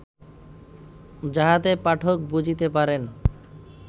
যাহাতে পাঠক বুঝিতে পারেন